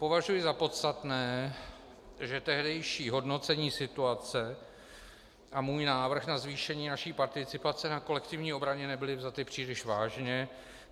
Považuji za podstatné, že tehdejší hodnocení situace a můj návrh na zvýšení naší participace na kolektivní obraně nebyly vzaty příliš vážně.